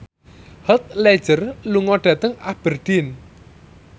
Heath Ledger lunga dhateng Aberdeen